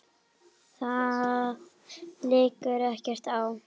Það liggur ekkert á.